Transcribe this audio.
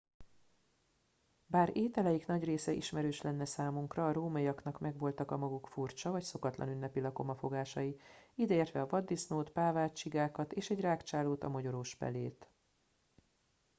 bár ételeik nagy része ismerős lenne számunkra a rómaiaknak megvoltak a maguk furcsa vagy szokatlan ünnepi lakomafogásai ideértve a vaddisznót pávát csigákat és egy rágcsálót a mogyorós pelét